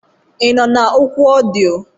Ị nọ na oku ọdịyo?